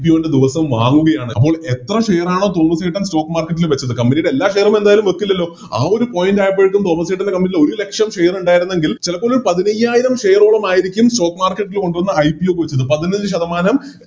ദിവസോം വാങ്ങുകയാണ് അപ്പൊൾ എത്ര Share ആണോ തോമസ്സേട്ടൻ Stock market ൽ വെക്കുന്നത് Company യുടെ എല്ലാ Share ഉം എന്തായാലും വെക്കില്ലല്ലോ ആ ഒരു Point ആയപ്പോഴേക്കും തോമസ്സേട്ടൻറെ Company യിൽ ഒരുലക്ഷം Share ഉണ്ടായിരുന്നെങ്കിൽ ചെലപ്പോൾ ഒരു പതിനയ്യായിരം Share ഓളം ആയിരിക്കും Stock market ൽ കൊണ്ടോന്ന് IPO ചെയ്ത വെക്കുന്നത് പതിനൊന്ന് ശതമാനം